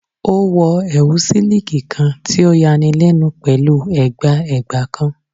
O wọ ẹwu siliki kan ti o yanilenu pẹlu ẹgba ẹgba kan